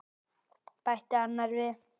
bætti annar við.